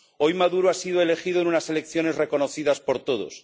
Hoy Maduro ha sido elegido en unas elecciones reconocidas por todos.